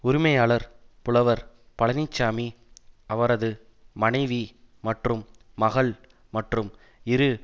உரிமையாளர் புலவர் பழனிச்சாமி அவரது மனைவி மற்றும் மகள் மற்றும் இரு